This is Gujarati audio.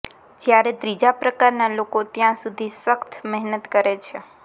જ્યારે ત્રીજા પ્રકારના લોકો ત્યાં સુધી સખત મહેનત કરે છે